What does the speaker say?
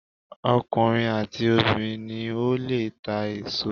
Ọkùnrin àti obìnrin ni ó lè ta èso.